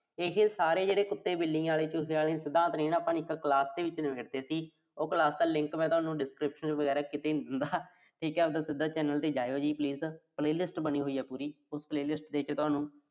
ਇਹੇ ਸਾਰੇ ਜਿਹੜੇ ਕੁੱਤੇ, ਬਿੱਲਿਆਂ ਆਲੇ, ਚੂਹਿਆਂ ਆਲੇ ਸਿਧਾਂਤ ਨੇ ਨਾ, ਆਪਾਂ ਨੂੰ ਨੇ ਦਿੱਤੇ ਸੀ। ਉਹ class ਦਾ link ਮੈਂ ਤੁਹਾਨੂੰ description ਚ ਕਿਤੇ ਵੀ ਦੇ ਦੇਊਂਗਾ ਠੀਕਾ ਜੀ, ਆਪਣਾ ਸਿੱਧਾ channel ਤੇ ਜਾਇਓ ਤੁਸੀਂ। playlist ਬਣੀ ਹੋਈ ਆ ਪੂਰੀ। ਉਸ playlist ਦੇ ਵਿੱਚ ਤੁਹਾਨੂੰ